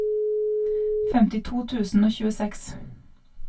femtito tusen og tjueseks